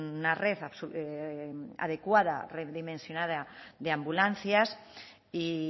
una red adecuada redimensionada de ambulancias y